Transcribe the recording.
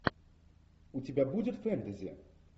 у тебя будет фэнтези